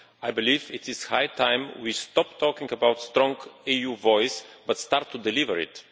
I believe it is high time we stopped talking about the strong EU voice and start to deliver it.